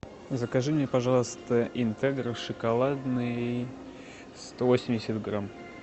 закажи мне пожалуйста интегро шоколадный сто восемьдесят грамм